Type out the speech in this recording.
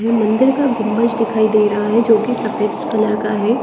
ये मंदिर का गुंबज दिखाई दे रहा है जो कि सफेद कलर का है।